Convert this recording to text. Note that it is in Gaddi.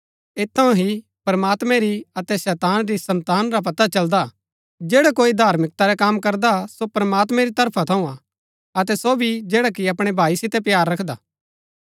ऐत थऊँ ही प्रमात्मैं री अतै शैतान री सन्तान रा पता चलदा जैडा कोई धार्मिकता रै कम करदा सो प्रमात्मैं री तरफा थऊँ हा अतै सो भी जैडा कि अपणै भाई सितै प्‍यार रखदा